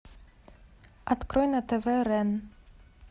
открой на тв рен